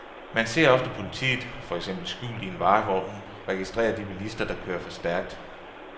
Man ser ofte politiet, for eksempel skjult i en varevogn, registrere de bilister, der kører for stærkt.